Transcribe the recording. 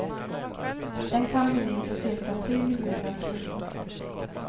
Den kan bli din för cirka tre miljoner kronor.